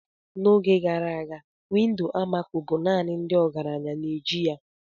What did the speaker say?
N'oge gara aga windo almaco bụ naanị ndị ọgaranya na-eji ya.